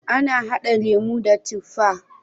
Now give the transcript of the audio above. Ana hada lemo da tifa.